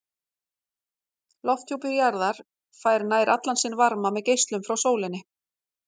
Lofthjúpur jarðar fær nær allan sinn varma með geislun frá sólinni.